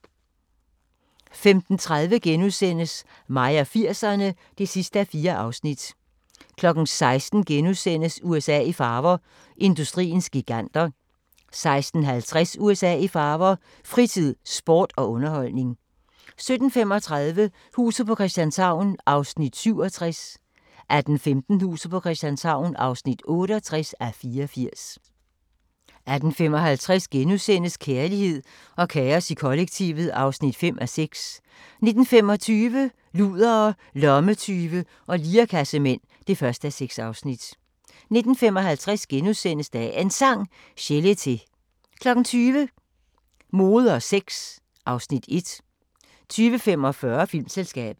15:30: Mig og 80'erne (4:4)* 16:00: USA i farver – industriens giganter * 16:50: USA i farver – fritid, sport og underholdning 17:35: Huset på Christianshavn (67:84) 18:15: Huset på Christianshavn (68:84) 18:55: Kærlighed og kaos i kollektivet (5:6)* 19:25: Ludere, lommetyve og lirekassemænd (1:6) 19:55: Dagens Sang: Chelete * 20:00: Mode og sex (Afs. 1) 20:45: Filmselskabet